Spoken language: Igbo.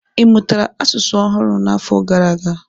Ị mụtara asụsụ ọhụrụ n'afọ gara aga?